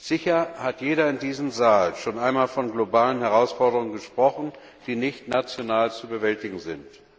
Sicher hat jeder in diesem Saal schon einmal von globalen Herausforderungen gesprochen, die nicht national zu bewältigen sind.